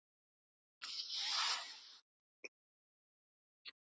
Hvað ætlið þið að gera við ágóðann af þessum tónleikum?